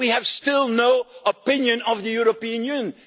We have still no opinion of the European Union.